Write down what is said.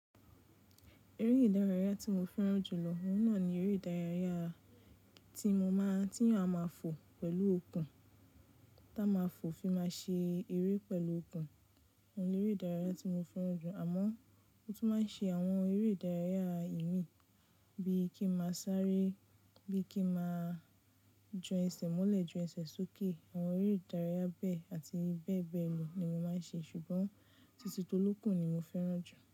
Eré ìdárayá tí mo fẹ́ràn jù lọ, òun náà ni eré ìdárayá tí mo máa tí à máa fò pẹ̀lú okùn, tá a máa fò fi máa ṣe eré pẹ̀lú okùn. Óun ni eré ìdárayá tí mo fẹ́ràn jù, àmọ́ mo tún máa ń ṣe àwọn eré ìdárayá ìmì bíi kí n máa sáré, bí kí n máa jọ ẹsẹ̀ mọ́lẹ̀ jù ẹsẹ̀ sókè. Àwọn eré ìdárayá bẹ́ẹ̀ àti bẹ́ẹ̀ bẹ́ẹ̀ lọ ni mo máa ń ṣe, ṣùgbọ́n títí tó lókun ni mo fẹ́ràn jù.